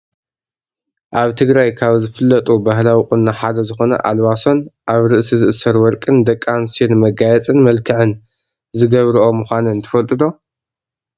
ኣብ ትግራይ ካብ ዝፍለጡ ባህላዊ ቁኖ ሓደ ዝኮነ ኣልባሶን ኣብ ርእሲ ዝእሰር ወርቅን ደቂ ኣንስትዮ ንመጋየፂን መልክዕን ዝገብሮኦ ምኳነን ትፈልጡ ዶ?